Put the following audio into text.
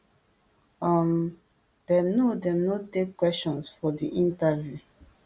um dem no dem no take questions for di interview